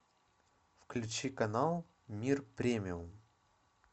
включи канал мир премиум